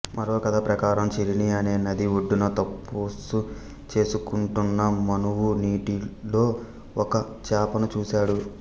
మరో కథ ప్రకారం చిరిణి అనే నది ఒడ్డున తప్పసు చేసుకుంటున్న మనువు నీటిలో ఒక చేపను చూశాడు